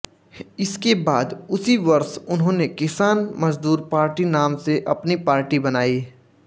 इसके बाद उसी वर्ष उन्होंने किसान मजदूर पार्टी नाम से अपनी पार्टी बनाई